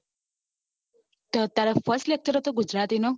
તો તારે first lecture હતું ગુજરાતી નું